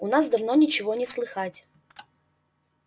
у нас давно ничего не слыхать